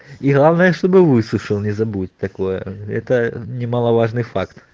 и главное чтобы высушил не забудь такое это немаловажный факт